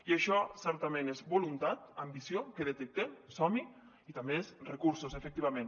i això certament és voluntat ambició que detectem som hi i també és recursos efectivament